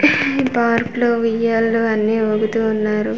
ఈ పార్క్ లో ఉయ్యాలు అన్ని ఊగుతు ఉన్నారు.